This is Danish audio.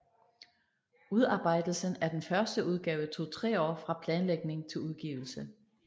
Udarbejdelsen af den første udgave tog tre år fra planlægning til udgivelse